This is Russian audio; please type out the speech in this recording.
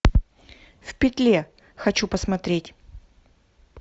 в петле хочу посмотреть